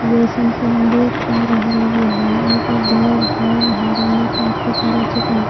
घर है। घर में काफी सारा--